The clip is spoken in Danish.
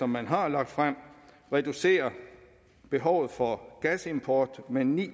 man har lagt frem reducere behovet for gasimport med ni